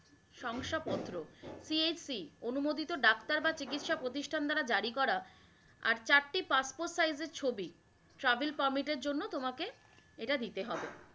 সংস্থা পত্র CHC অনুমোদিত ডাক্তার বা চিকিৎসা প্রতিষ্ঠান দ্বারা জারিকরা, আর চারটি Passport size এর ছবি Travel permit এর জন্য তোমাকে এটা দিতে হবে